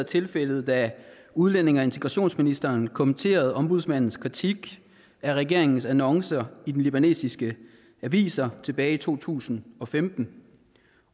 tilfældet da udlændinge og integrationsministeren kommenterede ombudsmandens kritik af regeringens annoncer i de libanesiske aviser tilbage i to tusind og femten